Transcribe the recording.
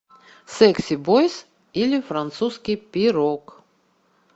секси бойз или французский пирог